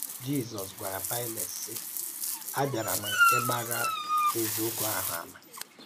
Jízọ́s gwàrà Paịlèt, sị: ‘Ábịárà m ígbàrà èzíòkwú ahụ̀ àmà.’